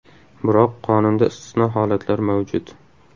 Biroq qonunda istisno holatlar mavjud.